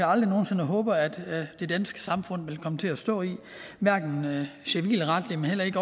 aldrig nogen sinde håber at det danske samfund vil komme til at stå i hverken civilretligt eller i